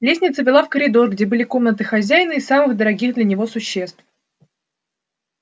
лестница вела в коридор где были комнаты хозяина и самых дорогих для него существ